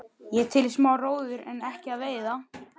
Ég er til í smá róður en ekki að veiða.